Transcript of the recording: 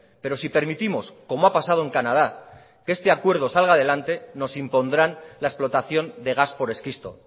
pero si permitimos como ha pasado en canadá que este acuerdo salga adelante nos impondrán la explotación de gas por esquisto